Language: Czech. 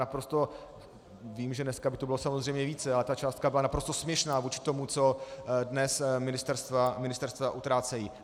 Naprosto vím, že dneska by to bylo samozřejmě více, ale ta částka byla naprosto směšná vůči tomu, co dnes ministerstva utrácejí.